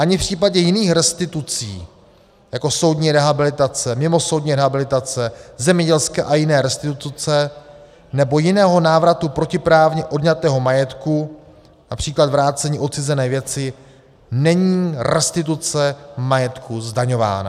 Ani v případě jiných restitucí jako soudní rehabilitace, mimosoudní rehabilitace, zemědělské a jiné restituce nebo jiného návratu protiprávně odňatého majetku, například vrácení odcizené věci, není restituce majetku zdaňována.